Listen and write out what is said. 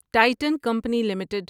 Titan company limited